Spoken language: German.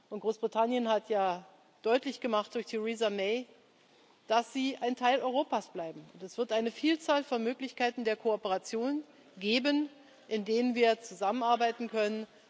Und Großbritannien hat ja deutlich gemacht durch Theresa May, dass sie ein Teil Europas bleiben. Es wird eine Vielzahl von Möglichkeiten der Kooperation geben, in denen wir zusammenarbeiten können.